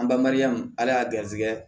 An banbali yan ala y'a garisigɛ